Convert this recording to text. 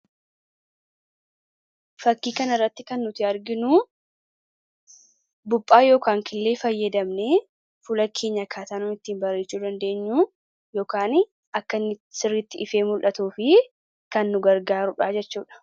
Fakkii kanarratti kan nuti arginu buuphaa yookaan killee fayyadamnee fuula keenya akkaataa nuti ittiin bareechuu dabdeenyu yookaan akkanni sirriitti ifee mul'atuuf kan nu gargaarudha jechuudha.